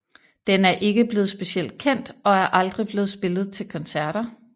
Den er ikke blevet specielt kendt og er aldrig blevet spillet til koncerter